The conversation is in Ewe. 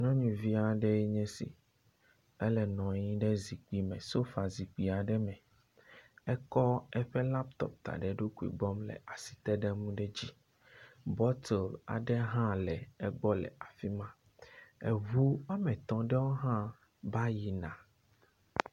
Nyɔnuvi aɖee nye si ele nɔ anyi ɖe zikpui me. Sofa zikpui aɖe me ekɔ eƒe laputɔp da ɖe eɖokui gbɔ le asi tem ɖe nu ɖe dzi. Bɔtel aɖe hã le egbɔ le afi ma. Eŋu wɔme etɔ̃ ɖewo hã va yi na.